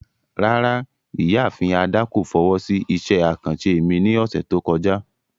Rárá, Ìyaafin Ada ko fowo si iṣẹ akanṣe mi ni ọsẹ to kọja.